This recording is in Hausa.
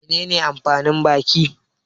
Menene amfanin baki?